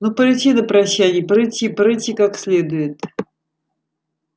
ну порычи на прощанье порычи порычи как следует